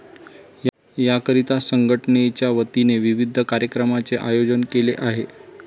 याकरीता संघटनेच्यावतीने विविध कार्यक्रमाचे आयेजन केले आहे.